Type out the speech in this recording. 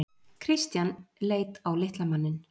Christian leit á litla manninn.